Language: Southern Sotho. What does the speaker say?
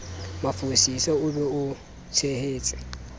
mafosisa o be o tshehetse